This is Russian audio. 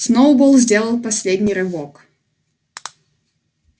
сноуболл сделал последний рывок